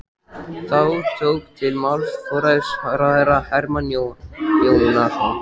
Þá tók til máls forsætisráðherra Hermann Jónasson.